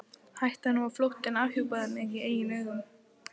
Hættan á að flóttinn afhjúpaði mig í eigin augum.